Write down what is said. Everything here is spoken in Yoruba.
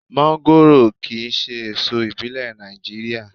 Mọ́ńgòrò kì í ṣe èso ìbílẹ̀ Nàìjíríà.